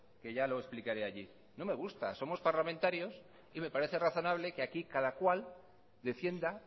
que ya lo explicaré allí no me gusta somos parlamentarios y me parece razonable que aquí cada cual defienda